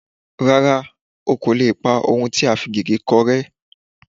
Rárá, o kò lè pa ohun tí a fi gègé kọ rẹ́